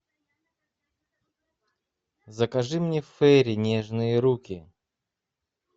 закажи мне фейри нежные руки